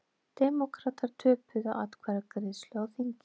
Demókratar töpuðu atkvæðagreiðslu á þingi